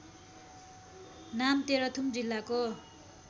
नाम तेह्रथुम जिल्लाको